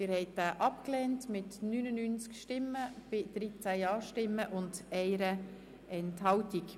Sie haben den Rückweisungsantrag abgelehnt mit 13 Ja- zu 99 Nein-Stimmen bei 1 Enthaltung.